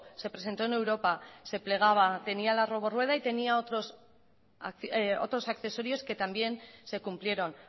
se presentó en europa se plegaba tenía la robo rueda y tenía otros accesorios que también se cumplieron